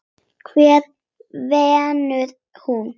Hvar vinnur hún?